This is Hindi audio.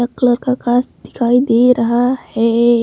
कलर का गास दिखाई दे रहा है।